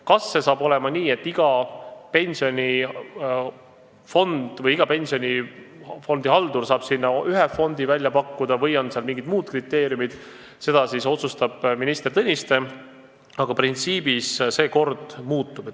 Kas iga pensionifondi haldur saab sinna ühe fondi välja pakkuda või on seal mingid muud kriteeriumid, seda otsustab minister Tõniste, aga printsiibina see kord muutub.